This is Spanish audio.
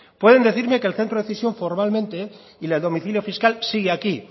pueden decirme que el centro de decisión formalmente y el domicilio fiscal sigue aquí